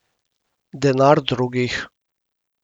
Denar drugih.